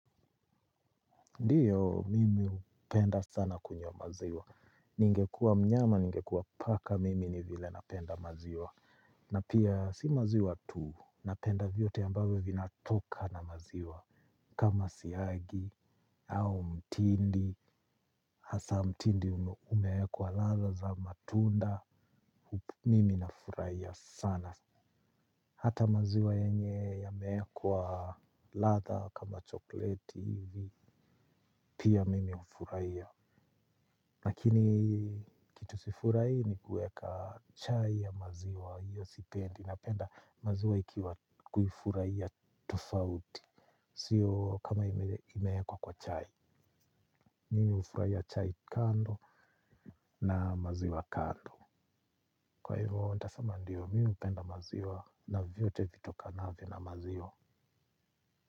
Ndiyo, mimi upenda sana kunywa maziwa. Ningekuwa mnyama, ningekuwa paka, mimi ni vile napenda maziwa. Na pia, si maziwa tu, napenda vyote ambayo vinatoka na maziwa. Kama siagi, au mtindi, hasa mtindi umeekwa latha za matunda, mimi nafurahia sana. Hata maziwa yenye yameekwa ladha kama chokoleti, pia mimi ufuraia. Lakini kitu sifurahi ni kuweka chai ya maziwa hiyo sipendi napenda maziwa ikiwa kuifurahia tofauti. Siyo kama imeekwa kwa chai. Mimi ufuraia chai kando na maziwa kando. Kwa hivyo ndio mimi hupenda maziwa na vyote vitokanavyo na maziwa.